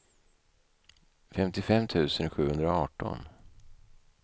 femtiofem tusen sjuhundraarton